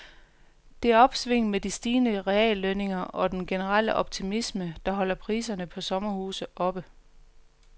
Det er opsvinget med de stigende reallønninger og den generelle optimisme, der holder priserne på sommerhuse oppe.